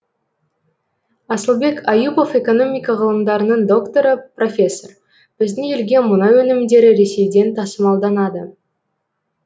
асылбек аюпов экономика ғылымдарының докторы профессор біздің елге мұнай өнімдері ресейден тасымалданады